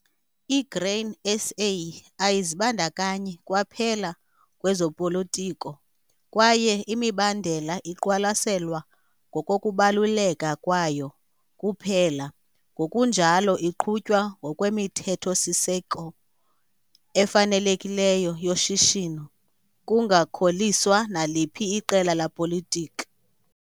I-Grain SA ayizibandakanyi kwaphela kwezopolotiko kwaye imibandela iqwalaselwa ngokokubaluleka kwayo kuphela ngokunjalo iqhutywa ngokwemithetho-siseko efanelekileyo yoshishino kungakholiswa naliphi iqela lapolitiki.